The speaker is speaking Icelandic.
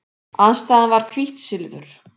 Andstæðan var hvítt silfur.